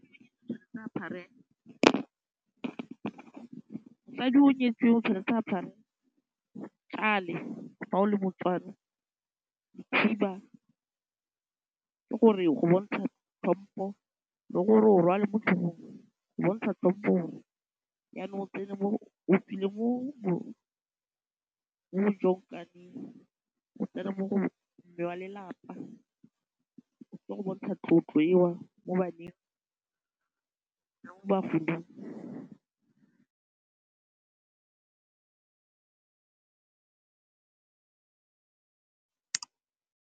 Mosadi yo nyetsweng tshwanetse apare tšale fa o le moTswana le khiba ke gore go bontsha tlhompo le gore o rwale mo tlhogong go bontsha tlhompo yanong o tswile mo o tsena mo go mme wa lelapa ke go bontsha tlotlo eo mo baneng le mo bagolong.